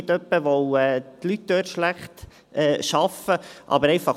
Nicht etwa, weil die Leute dort schlecht arbeiten.